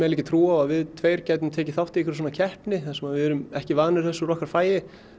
ekki trú á að við tveir gætum tekið þátt í einhverri svona keppni þar sem við erum ekki vanir þessu úr okkar fagi